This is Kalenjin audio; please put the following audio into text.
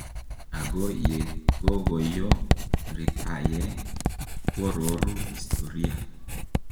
Ago yegogoyo ritaye kwororu historia.